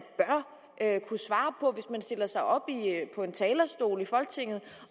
stiller sig op på en talerstol i folketinget